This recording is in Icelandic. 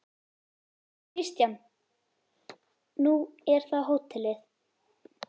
Kristján: Nú er það hótelið?